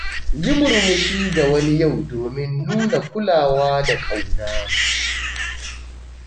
Yi murmushi ga wani yau domin nuna kulawa da ƙauna.